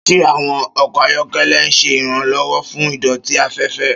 Ṣé àwọn ọkọ̀ ayọ́kẹ́lẹ́ ń ṣe ìrànlọ́wọ́ fún ìdọ̀tí afẹ́fẹ́?